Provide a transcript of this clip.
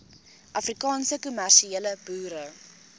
afrikaanse kommersiële boere